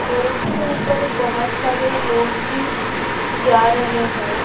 Road के ऊपर बोहोत सारे लोग भी जा रहे है।